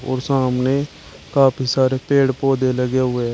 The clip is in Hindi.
और सामने काफी सारे पेड़ पौधे लगे हुए है।